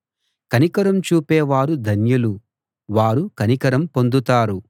కనికరం చూపే వారు ధన్యులు వారు కనికరం పొందుతారు